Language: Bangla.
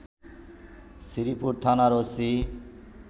শ্রীপুর থানার ওসি